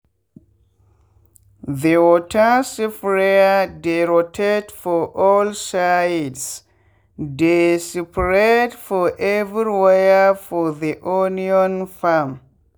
the water sprayer dey rotate for all sidese dey spread for everywhere for the onion farm